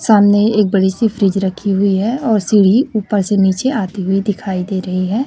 सामने एक बड़ी सी फ्रिज रखी हुई है और सीढ़ी ऊपर से नीचे आती हुई दिखाई दे रही है।